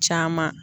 Caman